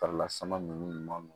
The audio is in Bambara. Farila sama ninnu